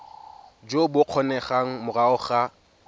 jo bo kgonegang morago ga